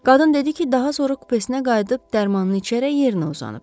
Qadın dedi ki, daha sonra kupesinə qayıdıb dərmanını içərək yerinə uzanıb.